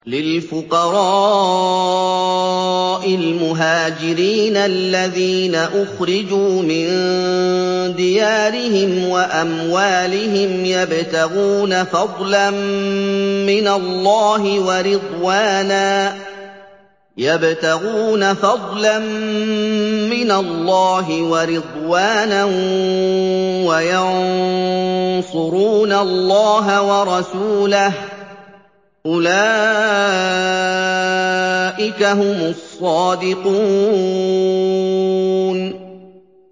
لِلْفُقَرَاءِ الْمُهَاجِرِينَ الَّذِينَ أُخْرِجُوا مِن دِيَارِهِمْ وَأَمْوَالِهِمْ يَبْتَغُونَ فَضْلًا مِّنَ اللَّهِ وَرِضْوَانًا وَيَنصُرُونَ اللَّهَ وَرَسُولَهُ ۚ أُولَٰئِكَ هُمُ الصَّادِقُونَ